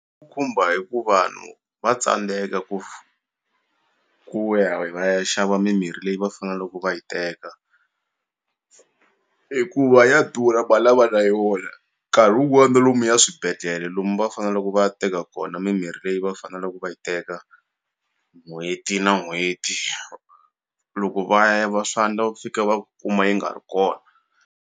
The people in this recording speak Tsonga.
Khumba hi ku vanhu va tsandzeka ku ku ya va ya xava mimirhi leyi va faneleke va yi teka hikuva ya durha mali a va na yona nkarhi wun'wani na lomuya swibedhlele lomu va faneleke va ya teka kona mimirhi leyi va faneleke va yi teka n'hweti na n'hweti loko va ya va swa endla va fika va kuma yi nga ri kona.